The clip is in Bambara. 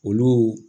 Olu